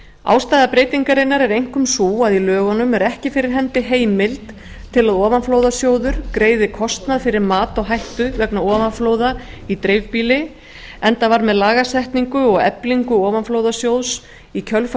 ástæða breytingarinnar er einkum sú að í lögunum er ekki fyrir hendi heimild til að ofanflóðasjóður greiði kostnað fyrir mat á hættu vegna ofanflóða í dreifbýli enda var með lagasetningu og eflingu ofanflóðasjóðs í kjölfar